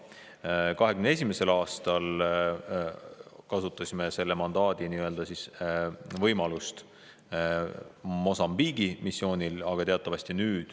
2021. aastal kasutasime selle mandaadi võimalust Mosambiigi missioonil.